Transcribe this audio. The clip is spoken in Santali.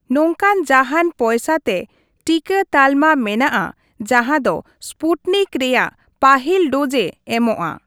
ᱱᱚᱝᱠᱟᱱ ᱡᱟᱦᱟᱱ ᱯᱚᱭᱥᱟ ᱛᱮ ᱴᱤᱠᱟᱹ ᱛᱟᱞᱢᱟ ᱢᱮᱱᱟᱜᱼᱟ ᱡᱟᱦᱟᱸ ᱫᱚ ᱥᱯᱩᱴᱱᱤᱠ ᱨᱮᱭᱟᱜ ᱯᱟᱹᱦᱤᱞ ᱰᱳᱡᱼᱮ ᱮᱢᱚᱜᱼᱟ